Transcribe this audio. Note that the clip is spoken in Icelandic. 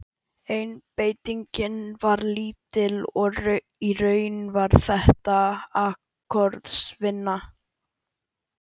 Einbeitingin var lítil og í raun var þetta akkorðsvinna.